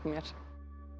mér